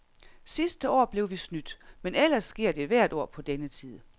Sidste år blev vi snydt, men ellers sker det hvert år på denne tid.